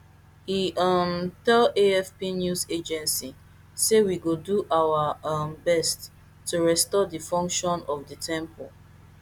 e um tell afp news agency say we go do our um best to restore di function of di temple